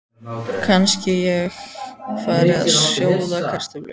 Kannski ég fari að sjóða kartöflur.